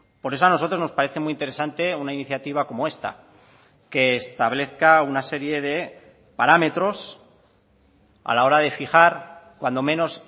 por eso a nosotros nos parece muy interesante una iniciativa como esta que establezca una serie de parámetros a la hora de fijar cuando menos